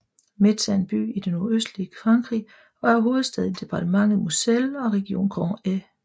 Metz er en by i det nordøstlige Frankrig og er hovedstad i departementet Moselle og regionen Grand Est